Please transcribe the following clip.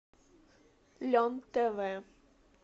лен тв